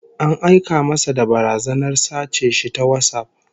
An aika masa da barazanar sace shi ta WhatsApp